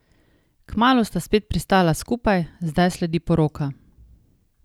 Kmalu sta spet pristala skupaj, zdaj sledi poroka.